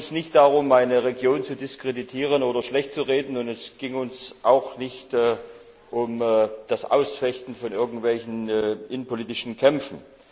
Es ging uns nicht darum, eine Region zu diskreditieren oder schlechtzureden, und es ging uns auch nicht um das Ausfechten von irgendwelchen innenpolitischen Kämpfen.